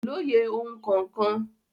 Kò lóye ohun kankan.